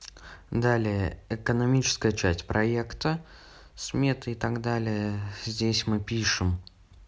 далее экономическая часть проекта сметы и так далее здесь мы пишем